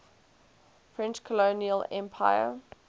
french colonial empire